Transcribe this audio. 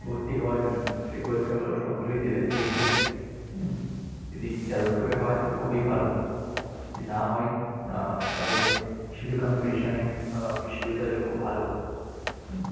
ভর্তি হওয়ার জন্য। সেই পরীক্ষাগুলো সবগুলোই দেবে। দেখবে হম যদি যাদবপুরে হয় তাহলে খুবই ভালো যদি না হয় আহ তাহলে সিধু-কানু বিশ্ব আহ বিশ্ববিদ্যালয় খুব ভালো। হম